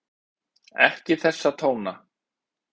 Ekki þessa tóna!